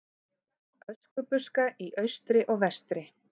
Öskubuska í austri og vestri.